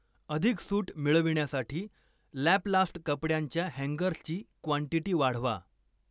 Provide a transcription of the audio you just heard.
अधिक सूट मिळविण्यासाठी लॅपलास्ट कपड्यांच्या हँगर्सची क्वांटीटी वाढवा.